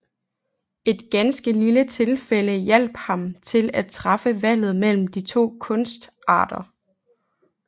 Et ganske lille tilfælde hjalp ham til at træffe valget mellem de to kunstarter